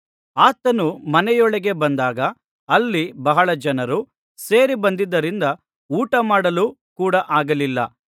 ಆತನು ಮನೆಯೊಳಗೆ ಬಂದಾಗ ಅಲ್ಲಿ ಬಹಳ ಜನರು ಸೇರಿಬಂದದ್ದರಿಂದ ಊಟ ಮಾಡಲು ಕೂಡ ಆಗಲಿಲ್ಲ